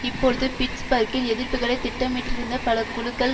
இப்பொழுது பிட்ஸ்பர்க்கில் எதிர்ப்புக்களை திட்டமிட்டிருந்த பல குழுக்கள்